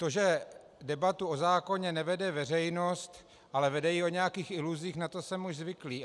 To, že debatu o zákoně nevede veřejnost, ale vede ji o nějakých iluzích, na to jsem už zvyklý.